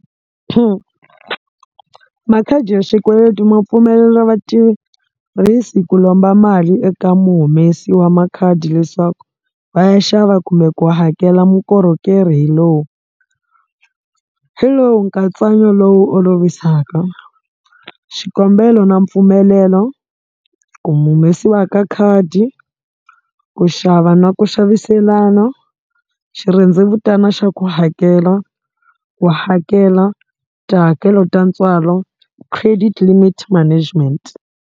Makhadi ya xikweleti ma pfumelela vatirhisi ku lomba mali eka muhumesi wa makhadi leswaku va ya xava kumbe ku hakela mukorhokerhi hi lowu hi lowu nkatsanyo lowu olovisaka xikombelo na mpfumelelo ku mu humesiwa ka khadi ku xava na ku xaviselana xi xirhendzevutana xa ku hakela ku hakela tihakelo ta ntswalo credit limit management.